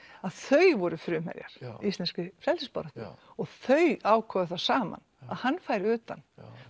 að þau voru frumherjar í íslenskri frelsisbaráttu og þau ákváðu það saman að hann færi utan